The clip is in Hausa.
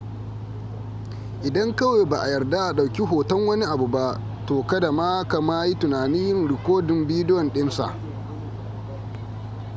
idan kawai ba a yarda a ɗauki hoton wani abu ba to kada ma ka ma yi tunanin yin rikodin bidiyo ɗinsa